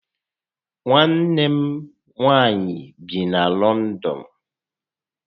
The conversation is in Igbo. Nwanne m nwaanyị bi na Lọndọn